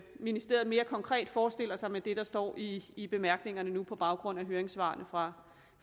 ministeriet mere konkret forestiller sig med det der står i i bemærkningerne nu på baggrund af høringssvarene fra